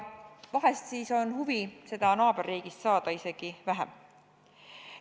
Vahest siis on huvi seda naaberriigist saada isegi vähem.